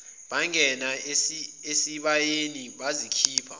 bangena esibayeni bazikhipha